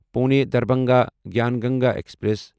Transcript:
Pune Darbhanga Gyan Ganga express